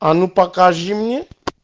а ну покажи мне